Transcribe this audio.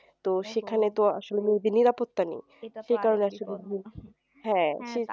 তো সেখানে তো আসলে নিরাপত্তা নেই